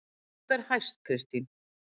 Hvað ber hæst Kristín?